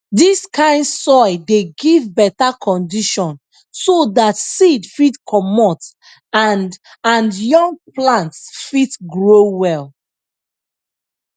dis kind soil dey give beta condition so dat seed fit comot and and young plants fit grow well